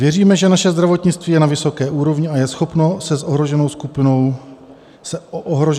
Věříme, že naše zdravotnictví je na vysoké úrovni a je schopno se o ohroženou skupinu obyvatel postarat.